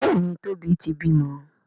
Béèni Tobi tí bímọ.